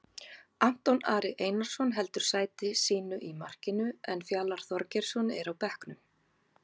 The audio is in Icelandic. Anton Ari Einarsson heldur sæti sínu í markinu en Fjalar Þorgeirsson er á bekknum.